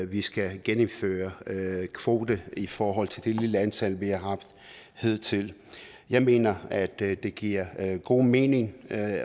vi skal genindføre kvoterne i forhold til det lille antal vi har haft hidtil jeg mener at det det giver god mening at